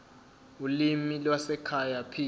ulimi lwasekhaya p